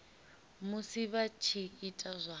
musi vha tshi ita zwa